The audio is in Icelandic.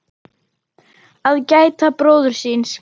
Að gæta bróður síns